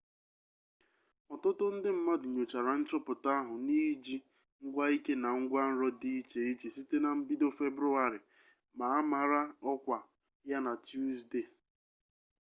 ọtụtụ ndị mmadụ nyochara nchọpụta ahụ n'iji ngwaike na ngwanro dị iche iche site na mbido februarị ma a mara ọkwa ya na tusdee